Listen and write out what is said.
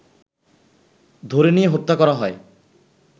ধরে নিয়ে হত্যা করা হয়